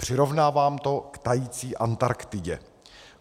Přirovnávám to k tající Antarktidě.